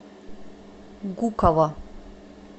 гуково